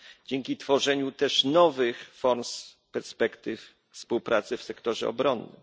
dzięki tworzeniu też nowych form i perspektyw współpracy w sektorze obronnym.